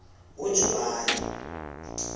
ngojulayi